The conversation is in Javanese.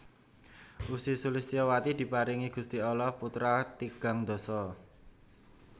Ussy Sulistyowati diparingi Gusti Allah putra tigang dasa